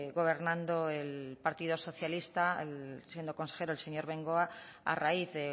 gobernando el partido socialista siendo consejero el señor bengoa a raíz de